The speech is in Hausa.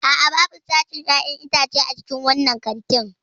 A'a, babu sashin 'ya'yan itace a cikin wannan kantin.